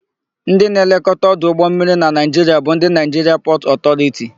Ndị na-elekọta ọdụ ụgbọmmiri na Naịjiria bụ ndị Naịjiria Pọtụ Ọtọriti.